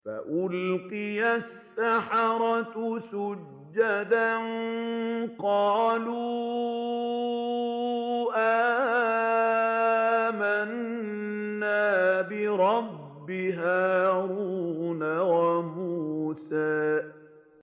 فَأُلْقِيَ السَّحَرَةُ سُجَّدًا قَالُوا آمَنَّا بِرَبِّ هَارُونَ وَمُوسَىٰ